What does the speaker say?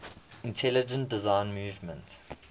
intelligent design movement